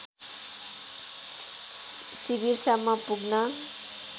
शिविरसम्म पुग्न